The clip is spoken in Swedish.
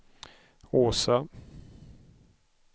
Åsa